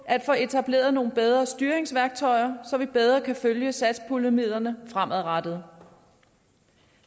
at få etableret nogle bedre styringsværktøjer så vi bedre kan følge satspuljemidlerne fremadrettet